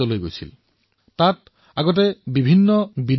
প্ৰথমে তাত খেলাসামগ্ৰীৰ অৰ্থ আছিল আমদানিকৃত খেলাসামগ্ৰী যি সস্তাও আছিল